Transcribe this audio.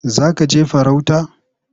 Za ka je farauta?